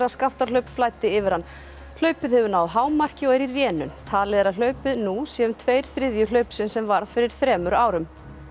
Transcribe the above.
Skaftárhlaup flæddi yfir hann hlaupið hefur náð hámarki og er í rénun talið er að hlaupið nú sé um tveir þriðju hlaupsins sem varð fyrir þremur árum